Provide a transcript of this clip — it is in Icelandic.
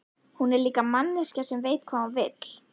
Hún er líka manneskja sem veit hvað hún vill.